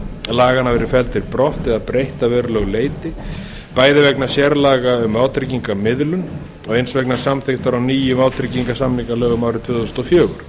laganna verið felldir brott eða breytt að verulegu leyti bæði vegna sérlaga um vátryggingamiðlun og eins vegna samþykktar á nýjum vátryggingarsamningalögum árið tvö þúsund og fjögur